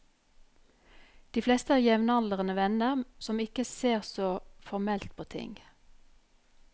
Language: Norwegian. De fleste er jevnaldrende venner, som ikke ser så formelt på ting.